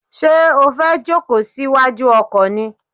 Ṣé o fẹ́ jòkó sí wájú ọkọ̀ ni?